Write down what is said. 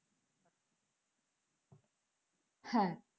হ্যাঁ,